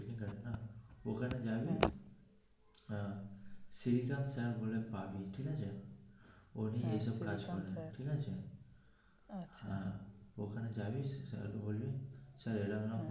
ওখানে জাবি হ্যা পাবি ঠিক আছে ও গিয়ে এই সব প্রায় সমাধান ঠিক আছে ওখানে যাবি গিয়ে বলবি sir এইরম এইরম.